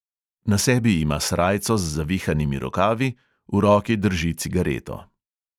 Na sebi ima srajco z zavihanimi rokavi, v roki drži cigareto.